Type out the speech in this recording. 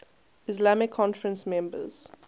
islamic conference members